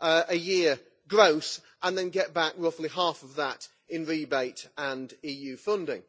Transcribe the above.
a year gross and then get back roughly half of that in rebate and EU funding.